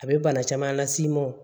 A bɛ bana caman las'i ma